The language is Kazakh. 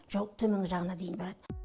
жалпы төменгі жағына дейін барады